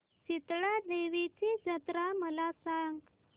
शितळा देवीची जत्रा मला सांग